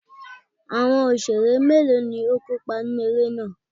Àwọn Òṣeré mélòó ni ó kópa nínú eré náà?